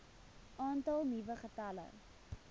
aantal nuwe gevalle